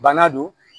Bana don